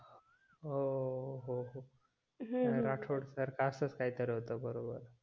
ओवव हो हो राठोड सर का असच काय तरी होत बरोबर